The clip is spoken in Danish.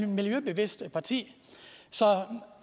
miljøbevidst parti så